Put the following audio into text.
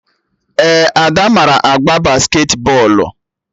Ee, Ada mara agba basketi bọọlụ